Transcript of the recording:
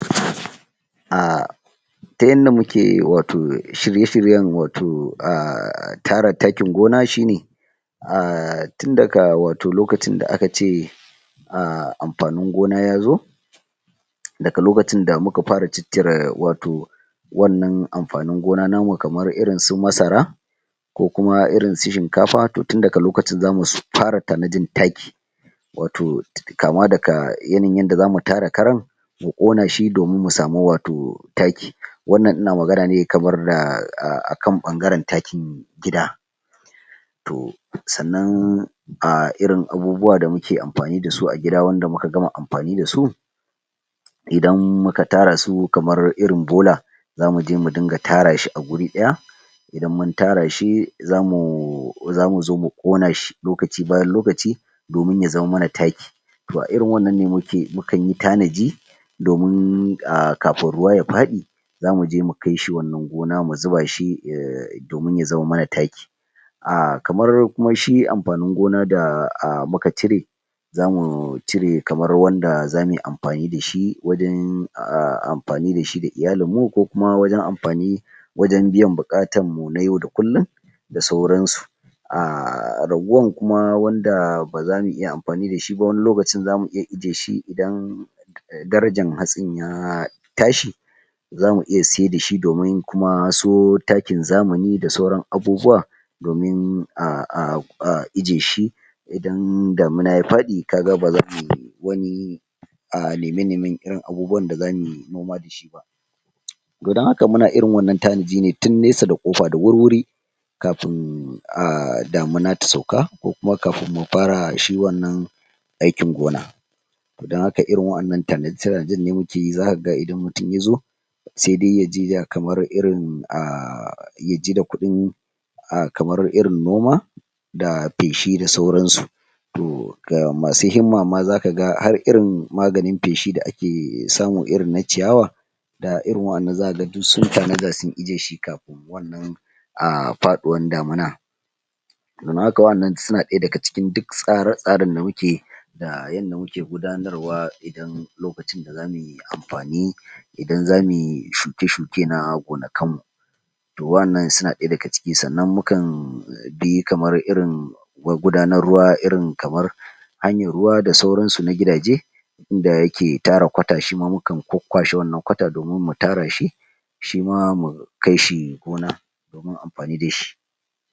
ta yanda muke wato shirye-shiryen wato tara taakin gona shine tin daga wato lokacin da aka ce amfanin gona ya zo daga lokacin da muka fara ciccire wato wannan amfanin gona namu kamar irin su masara, ko kuma irin su shinkafa toh tin daga lokacin zamu fara tanadin taaki wato kaama daga yanayin yanda zamu tara karan mu ƙona shi domin mu samu wato taaki, wannan ina magana ne kamar akan ɓangaran taakin gida toh sannan irin abubuwa da muke amfani dasu a gida wanda muka gama amfani dasu, idan muka tara su kamar irin bola, zamu je mu dinga tara shi a guri ɗaya idan mun tara shi zamu zo mu ƙona shi lokaci bayan lokaci domin ya zama mana taaki toh a irin wannan ne mukan yi tanadi domin kafin ruwa ya padi zamu je mukai shi wannan gona mu zuba shi domin ya zama mana taaki kamar kuma shi amfanin gona da muka cire zamu cire kamar wanda zamuyi amfani dashi wajan amfani dashi da iyalin mu ko kuma wajan amfani wajan biyan buƙatan mu na yau da kullum da sauran su raguwan kuma wanda baza mu iya amfani da shi ba wani lokacin zamu iya ijiye shi idan darajan hatsin ya tashi zamu iya sai dai shi domin kuma so taakin zamani da sauran abubuwa domin a ijiyeshi idan damuna ya faɗi kaga bazamuyi wani neme-nemen irin abubuwan da zamu yi noma da shi ba dan haka muna irin wannan tanadi ne tun nesa da ƙofa da wurwuri kafin damuna ta sauka ko kuma kafin mu fara shi wannan aikin gona toh dan haka irin wa'annan tanada-tanadan mukeyi zaka ga idan mutum yazo se dai ya jida kamar irin ya jida kuɗin kamar irin noma da peshi da sauran su toh ga masu himma ma zaka ga har irin maganin peshi da ake samu irinna ciyawa da irin wa'annan zaka ga duk sun tanada sun ijiyeshi kafin wannan fadiwan damuna wa'annan suda ɗaya daga cikin duk tsre-tsaren da muke yi da yanda muke gudanar wa idan lokain da zamuyi amfani idan zamuyi shuke-shuke na gonakan mu to wa'annan suna ɗaya daga ciki, sannan mukan bi kamar irin magudanar ruwa irin kamar hanyan ruwa da sauran su na gida je da yake tara kwata shima mukan kwakwashe wannan kwata domin mu tara shi shima mu kai shi gona domin amfani dashi.